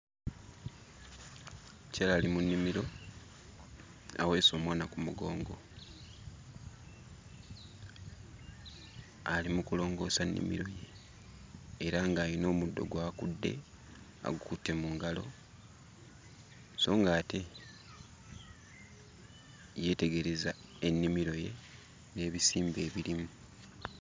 Omukyala ali mu nnimiro aweese omwana ku mugongo, ali mu kulongoosa nnimiro ye era ng'ayina omuddo gwakudde agukutte mu ngalo. So ng'ate yeetegereza ennimiro ye n'ebisimbe ebirimu